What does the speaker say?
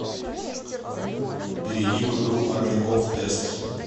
перейди в игру армяков тест